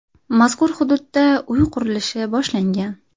Mazkur hududda uy qurilishi boshlangan.